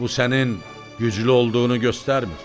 Bu sənin güclü olduğunu göstərmir.